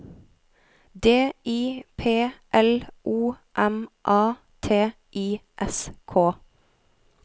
D I P L O M A T I S K